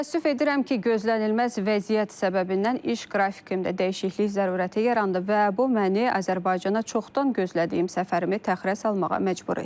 Təəssüf edirəm ki, gözlənilməz vəziyyət səbəbindən iş qrafikimdə dəyişiklik zərurəti yarandı və bu məni Azərbaycana çoxdan gözlədiyim səfərimi təxirə salmağa məcbur etdi.